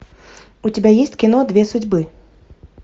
у тебя есть кино две судьбы